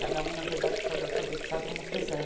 Cada um, na verdade, pode alfabetizar como quiser.